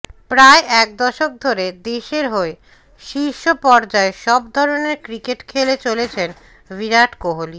প্রায় এক দশক ধরে দেশের হয়ে শীর্ষ পর্যায়ে সব ধরনের ক্রিকেট খেলে চলেছেন বিরাট কোহলি